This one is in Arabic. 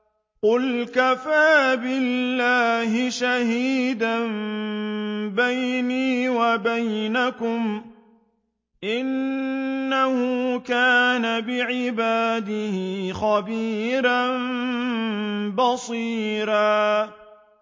قُلْ كَفَىٰ بِاللَّهِ شَهِيدًا بَيْنِي وَبَيْنَكُمْ ۚ إِنَّهُ كَانَ بِعِبَادِهِ خَبِيرًا بَصِيرًا